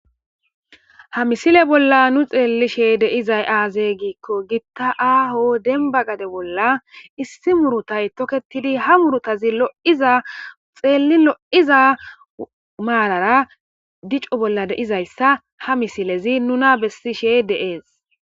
ha misile bolla nu xeellishe de'izay aazey giikko gitta aaho denba gade bolla issi murutay toketidi ha murutazi lo7iza xeelli lo7iza maalara dicu bolla deizayssa ha misilezi nuna bessishe deees